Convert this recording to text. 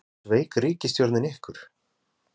Jónas Margeir Ingólfsson: Sveik ríkisstjórnin ykkur?